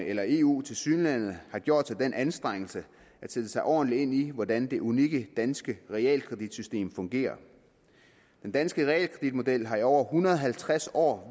eller eu tilsyneladende har gjort sig den anstrengelse at sætte sig ordentligt ind i hvordan det unikke danske realkreditsystem fungerer den danske realkreditmodel har i over en hundrede og halvtreds år